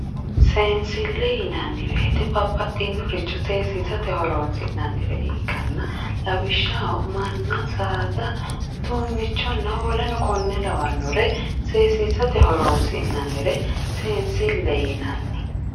Seensile yinanni woyte babbaxxinoricho seesissate horonsi'nannire ikkanna lawishshaho manna saada uduunichonna woleno kone lawanore seesisate horonsi'nannire seensile yinanni.